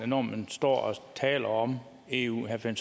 når man står og taler om eu herre finn